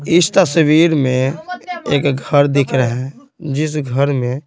इस तस्वीर में एक घर दिख रहा है जिस घर में--